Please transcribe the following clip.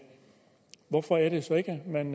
man